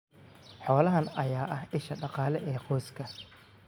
Xoolahan ayaa ah isha dhaqaale ee qoyska.